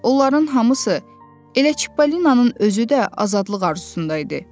Onların hamısı elə Çipollinanın özü də azadlıq arzusunda idi.